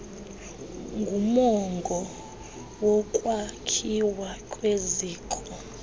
ngumongo wokwakhiwa kweziko